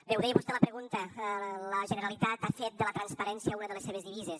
bé ho deia vostè a la pregunta la generalitat ha fet de la transparència una de les seves divises